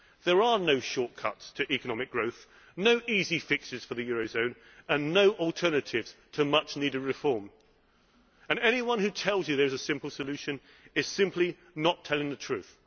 There are no shortcuts to economic growth, no easy fixes for the eurozone and no alternatives to much needed reform. Anyone who tells you there is a simple solution is simply not telling the truth.